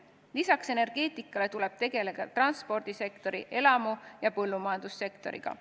Lisaks energeetikale tuleb tegeleda transpordi-, elamu- ja põllumajandussektoriga.